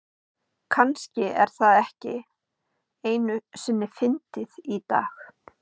kannski er það ekki einu sinni fyndið í dag